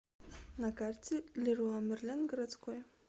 на карте леруа мерлен городской